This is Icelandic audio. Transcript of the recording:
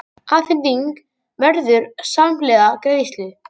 Afhending verður samhliða greiðslu